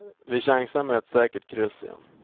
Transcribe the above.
Vi chansar med ett säkert kryss igen.